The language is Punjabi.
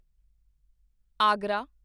ਆਗਰਾ